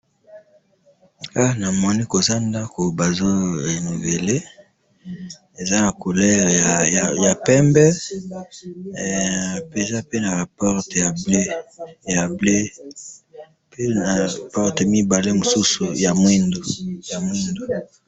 he namoni koza ndaku bazo renouveller eza naba couleur ya pembehe eza pe naba portail ya bleu pr na porte mosusu ya mwindu ya mwindu.